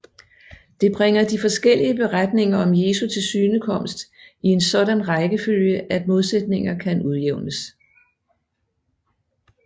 Det bringer de forskellige beretninger om Jesu tilsynekomst i en sådan rækkefølge at modsætninger kan udjævnes